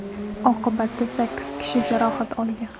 Oqibatda sakkiz kishi jarohat olgan.